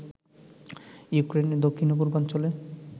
ইউক্রেনের দক্ষিণ ও পূর্বাঞ্চলে